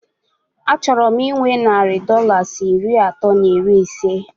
A chọrọ m inwe narị Dọlas iri atọ na iri isé